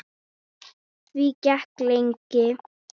Því gekk lengi.